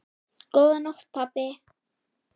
Góða nótt, pabbi.